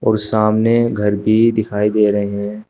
और सामने घर भी दिखाई दे रहे हैं।